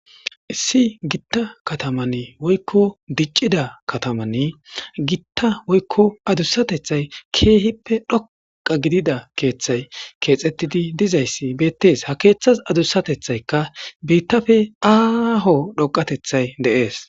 Issi gitta kattaman woykko diccida kattaman giitta woykko adussatethay kehippe dhoqqa gidida keththay kexxetidi dizayssi bettes ha keththas adussatethayka biitappe aho dhoqatethay de'es.